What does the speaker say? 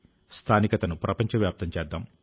స్థానికతను ప్రపంచవ్యాప్తం చేద్దాం